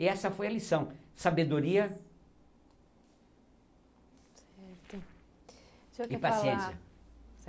E essa foi a lição, sabedoria o senhor quer falar e paciência.